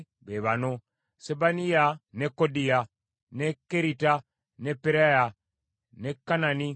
n’abaabayambangako be ba Sebaniya, ne Kodiya, ne Kerita, ne Peraya, ne Kanani,